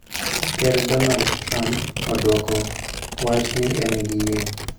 Ker Donald Trump oduogo wacho ni en gi yie.